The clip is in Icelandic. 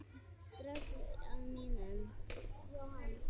Ströggl á mínum?